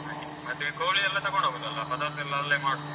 ಹಾಗೆ ಮತ್ತೆ ಕೋಳಿ ಎಲ್ಲ ತಕೊಂಡು ಹೋಗುದಲ್ಲ, ಪದಾರ್ಥ ಎಲ್ಲ ಅಲ್ಲೆ ಮಾಡುದು.